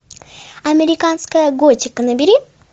американская готика набери